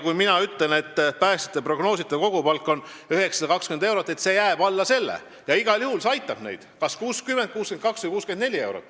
Kui mina ütlen, et päästjate prognoositav kogupalk on 920 eurot, siis see jääb alla selle 1200 ja igal juhul see aitab neid, kas siis 60, 62 või 64 euro võrra.